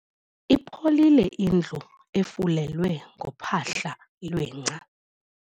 Ipholile indlu efulelwe ngophahla lwengca.